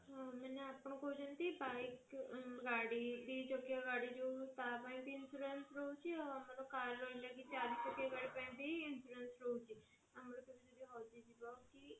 ହଁ ମାନେ ଆପଣ କହୁଛନ୍ତି bike ଗାଡି ଦି ଚକିଆ ଗାଡି ଯୋଉ ତା ପାଇଁ ବି insurance ରହୁଛି ଆଉ ଆମର car ରହିଲା ଚାରି ଚକିଆ ଗାଡି ପାଇଁ ବି insurance ରହୁଛି ଆଉ ଯଦି କିଛି ଗୋଟେ ହଜି ଯିବ କି